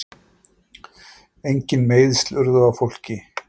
Engin meiðsl urðu á fólki